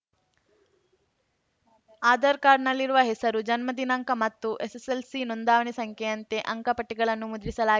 ಆಧಾರ್‌ ಕಾರ್ಡ್‌ನಲ್ಲಿರುವ ಹೆಸರು ಜನ್ಮ ದಿನಾಂಕ ಮತ್ತು ಎಸ್‌ಎಸ್‌ಎಲ್‌ಸಿ ನೋಂದಣಿ ಸಂಖ್ಯೆಯಂತೆ ಅಂಕಪಟ್ಟಿಗಳನ್ನು ಮುದ್ರಿಸಲಾ